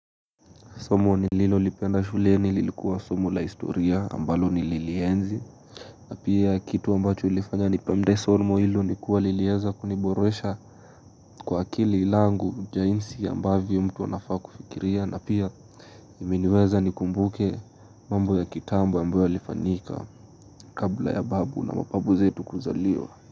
Somo nililo lipenda shuleni lilikuwa somo la historia ambalo nililienzi na pia kitu ambacho ilifanya nipende somo ilo nikuwa lilieza kuniboresha Kwa akili langu jainsi ambavyo mtu anafaa kufikiria na pia imeniweza nikumbuke mambo ya kitambo ambayo yalifanika kabla ya babu na mapabu zetu kuzaliwa.